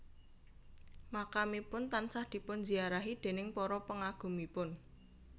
Makamipun tansah dipun ziarahi déning para pengagumipun